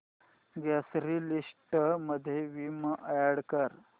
grocery list मध्ये Vim add कर